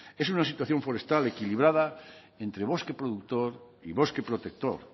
es una situación forestal equilibrada entre bosque productor y bosque protector